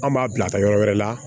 An b'a bila ka taa yɔrɔ wɛrɛ la